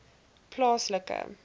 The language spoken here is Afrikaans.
plaaslike